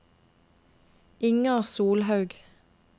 Inger Solhaug